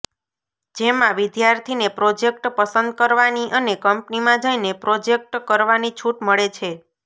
જેમાં વિદ્યાર્થીને પ્રોજેક્ટ પસંદ કરવાની અને કંપનીમાં જઈને પ્રોજેક્ટ કરવાની છૂટ મળે છે